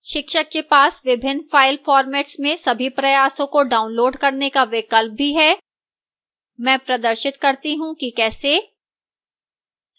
शिक्षक के पास विभिन्न फ़ाइल formats में सभी प्रयासों को download करने का विकल्प भी है मैं प्रदर्शित करती हूँ कि कैसे